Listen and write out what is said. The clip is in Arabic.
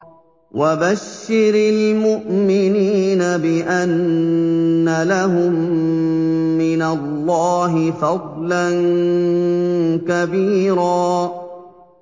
وَبَشِّرِ الْمُؤْمِنِينَ بِأَنَّ لَهُم مِّنَ اللَّهِ فَضْلًا كَبِيرًا